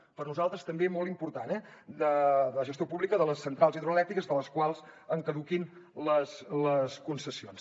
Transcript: per nosaltres també molt important eh la gestió pública de les centrals hidroelèctriques de les quals en caduquin les concessions